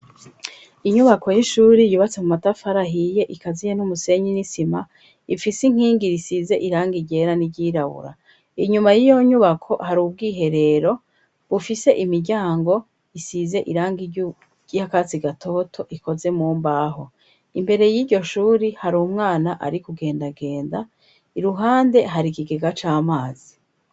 Inyubako y'ishuri yubatse mu matafari ahiye ikaziye n'umusenyi n'isima ifise inkingi risize iranga igera n'iryirabura inyuma y'iyo nyubako hari ubwiherero bufise imiryango isize irangi risa akatsi gatoto ikoze mumbaho imbere y'iryoshuri hari umwana ari kugendagenda iruhande hari ikigega c'amazi.